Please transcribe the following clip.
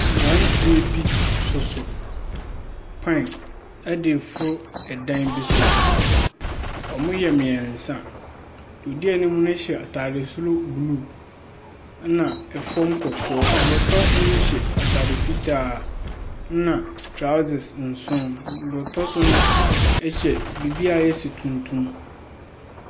Mmeranteɛ bi soso pan de reforo dan bi so. Wɔyɛ mmeɛnsa. Deɛ ɔdi anim no hyɛ atade soro blue, ɛnna fam kɔkɔɔ. Deɛ ɔtɔ so no hyɛ atare fitaa, na trousers nson. Deɛ ɔtɔ so no hyɛ biribi a ayɛ sɛ tuntum.